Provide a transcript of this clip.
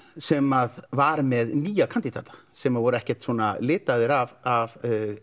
sem var með nýja kandídata sem voru ekkert svona litaðir af